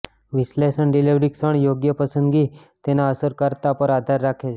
વિશ્લેષણ ડિલિવરી ક્ષણ યોગ્ય પસંદગી તેના અસરકારકતા પર આધાર રાખે છે